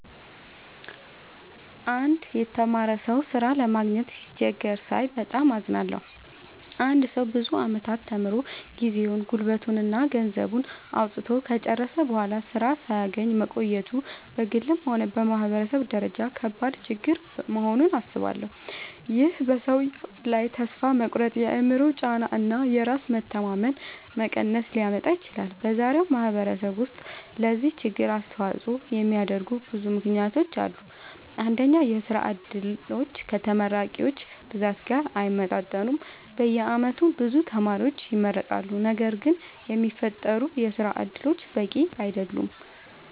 አንድ የተማረ ሰው ሥራ ለማግኘት ሲቸገር ሳይ በጣም አዝናለሁ። አንድ ሰው ብዙ ዓመታት ተምሮ፣ ጊዜውን፣ ጉልበቱን እና ገንዘቡን አውጥቶ ከጨረሰ በኋላ ሥራ ሳያገኝ መቆየቱ በግልም ሆነ በማህበረሰብ ደረጃ ከባድ ችግር መሆኑን አስባለሁ። ይህ በሰውየው ላይ ተስፋ መቁረጥ፣ የአእምሮ ጫና እና የራስ መተማመን መቀነስ ሊያመጣ ይችላል። በዛሬው ማህበረሰብ ውስጥ ለዚህ ችግር አስተዋጽኦ የሚያደርጉ ብዙ ምክንያቶች አሉ። አንደኛ፣ የሥራ ዕድሎች ከተመራቂዎች ብዛት ጋር አይመጣጠኑም። በየዓመቱ ብዙ ተማሪዎች ይመረቃሉ፣ ነገር ግን የሚፈጠሩ የሥራ እድሎች በቂ አይደሉም።